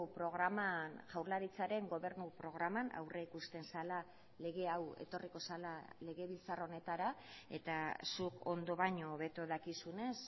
programan jaurlaritzaren gobernu programan aurrikusten zela lege hau etorriko zela legebiltzar honetara eta zuk ondo baino hobeto dakizunez